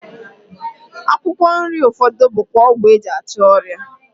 Akwụkwọ nri ụfọdụ bụkwa ọgwụ e ji achụ ọrịa